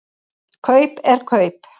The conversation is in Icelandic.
Kaup er kaup.